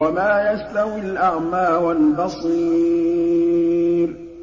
وَمَا يَسْتَوِي الْأَعْمَىٰ وَالْبَصِيرُ